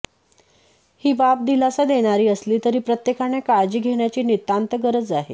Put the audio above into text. ही बाब दिलासा देणारी असली तरी प्रत्येकाने काळजी घेण्याची नितांत गरज आहे